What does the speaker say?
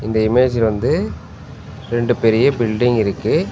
இந்த இமேஜ் வந்து ரெண்டு பெரிய பில்டிங் இருக்கு.